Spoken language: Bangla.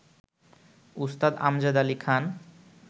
উস্তাদ আমজাদ আলি খাঁন